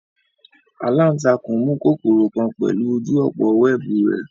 Alantakun mu kokoro kan pẹlu oju opo wẹẹbu rẹ